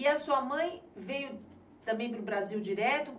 E a sua mãe veio também para o Brasil direto?